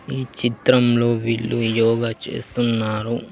ఈ చిత్రంలో వీళ్ళు యోగ చేస్తున్నారు.